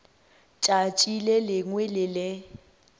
tšatši le lengwe le le